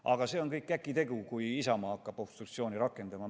Aga see on kõik käkitegu, kui Isamaa hakkab obstruktsiooni rakendama.